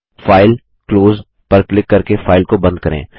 file GT GT close पर click करके file को बंद करें